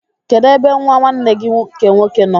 Kedụ ebe nwa nwanne gị nke nwoke nọ?